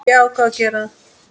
Ég ákvað að gera það.